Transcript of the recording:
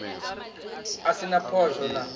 a si na phosho na